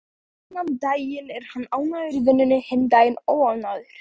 Annan daginn er hann ánægður í vinnunni, hinn daginn óánægður.